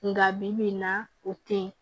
Nka bibi in na o tɛ ye